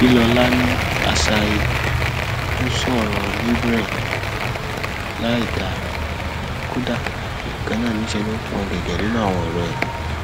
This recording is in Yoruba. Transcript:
bílọlá ní asahi ò sọrọ libre láìdáa kódà ganan níṣẹ ló ń pọn ọn gẹgẹ nínú àwọn ọrọ ẹ